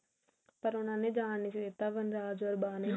ਪਰ ਉਹਨਾਂ ਨੇ ਜਾਨ ਨਹੀ ਸੀ ਦਿੱਤਾ ਵਨਰਾਜ ਓਰ ਨੇ